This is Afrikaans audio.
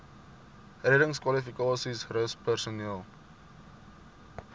reddingskwalifikasies rus personeel